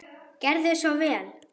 Gerðu svo vel.